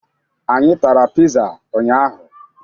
Anyị tara pịza ụnyaahụ.